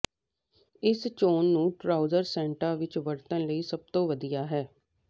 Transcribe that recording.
ਇਸ ਚੋਣ ਨੂੰ ਟਰਾਊਜ਼ਰ ਸੈੱਟਾਂ ਵਿਚ ਵਰਤਣ ਲਈ ਸਭ ਤੋਂ ਵਧੀਆ ਹੈ